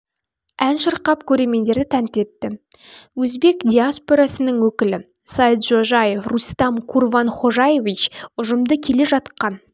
ән шырқап көрермендерді тәнті етті өзбек диаспорасының өкілі саиджожаев рустам курванхожаевич ұжымды келе жатқан